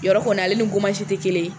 Yɔrɔ kɔni ale ni te kelen ye.